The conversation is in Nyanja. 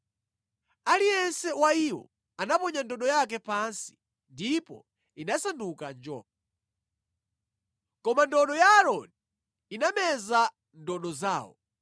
Aliyense wa iwo anaponya ndodo yake pansi ndipo inasanduka njoka. Koma ndodo ya Aaroni inameza ndodo zawo.